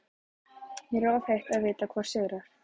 Mér er of heitt til að vita hvor sigrar.